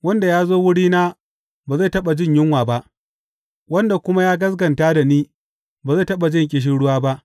Wanda ya zo wurina ba zai taɓa jin yunwa ba, wanda kuma ya gaskata da ni ba zai taɓa jin ƙishirwa ba.